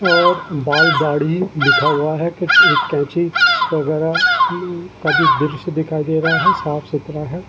वह बाल दाढ़ी लिखा हुवा है कुछ कैची वगैरा का भी दृश्य दिखाई दे रहा है साफ सुथरा है।